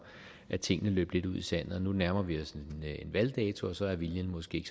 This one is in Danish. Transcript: tingene løb lidt ud i sandet nu nærmer vi os en valgdato og så er viljen måske